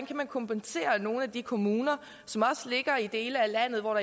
kan kompensere nogle af de kommuner som ligger i dele af landet hvor